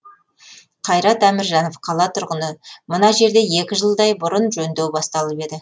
қайрат әміржанов қала тұрғыны мына жерде екі жылдай бұрын жөндеу басталып еді